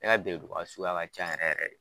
Ne ka bereduga sugaya ka can yɛrɛ yɛrɛ yɛrɛ de